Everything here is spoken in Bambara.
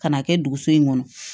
Ka n'a kɛ duguso in kɔnɔ